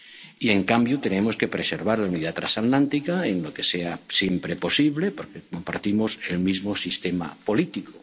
con esta afirmación. Y, en cambio, tenemos que preservar la unidad trasatlántica en lo que siempre sea posible, porque compartimos el